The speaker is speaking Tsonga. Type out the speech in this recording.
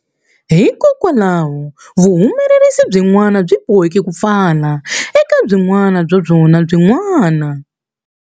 Hikwalaho, vuhumelerisi byin'wana byi boheke ku pfala, eka byin'wana bya byona byin'wana.